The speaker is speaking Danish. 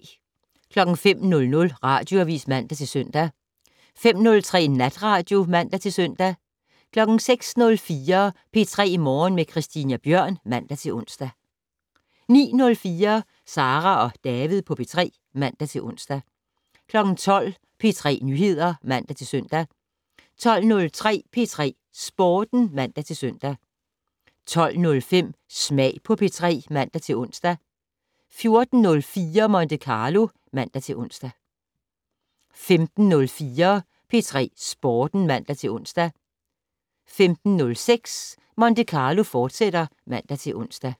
05:00: Radioavis (man-søn) 05:03: Natradio (man-søn) 06:04: P3 Morgen med Christina Bjørn (man-ons) 09:04: Sara og David på P3 (man-ons) 12:00: P3 Nyheder (man-søn) 12:03: P3 Sporten (man-søn) 12:05: Smag på P3 (man-ons) 14:04: Monte Carlo (man-ons) 15:04: P3 Sporten (man-ons) 15:06: Monte Carlo, fortsat (man-ons)